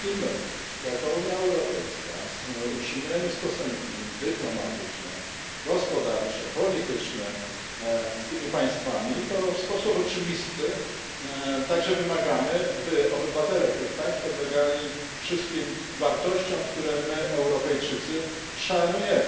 Jeśli my, jako Unia Europejska, utrzymujemy stosunki dyplomatyczne, gospodarcze i polityczne z tymi państwami, to w sposób oczywisty także wymagamy, by obywatele tych państw podlegali wszystkim wartościom, które my, Europejczycy, szanujemy.